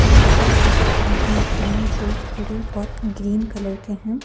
Flowers भी दिख रहे हैं जो थोड़े बहोत ग्रीन कलर के हैं।